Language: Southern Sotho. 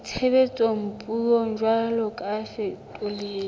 itshebetsang puong jwalo ka bafetoledi